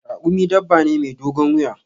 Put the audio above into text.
Raƙumi dabba ne mai dogon wuya.